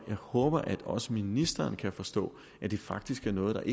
jeg håber at også ministeren kan forstå at det faktisk er noget der